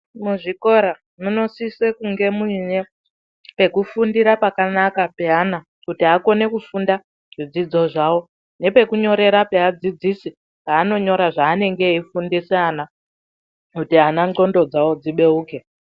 Muzvikora munosise kunge muine pekufundira pakanaka peana kuti akone kufunda, zvidzidzo zvavo ne pekunyorera peadzidzisi zvaanonyora zvaanenge eifundisa ana kuti ana ndxondo dzavo dzibeuke.